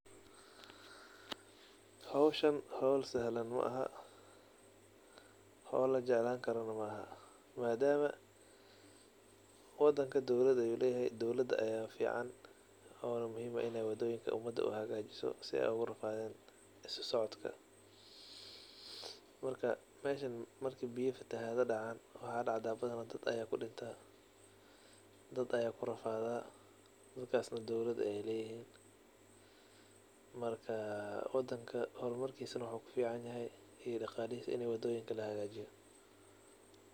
Howshaan howl sahlan maaha howl lajeclani karana maaha madam wadanka dowlad ayu leyehe dowlada fican waxa muhiim eh in ey wadoyinka hagajiso si ey dadka ogurafadin. Marka meeshan marku biyo fatahado dacan dad aya kudawacma ona kudinta dowlad ayey leyihin marka wadanka hormarkisa waxa kufican wadoyinka inii lahagajiyo madam daqalo leyihin.